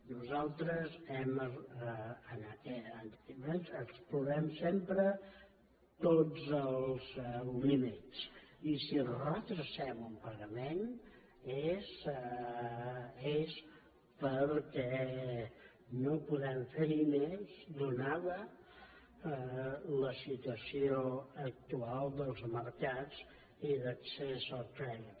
nosaltres explorem sempre tots els límits i si retardem un pagament és perquè no podem fer hi més donada la situació actual dels mercats i d’accés al crèdit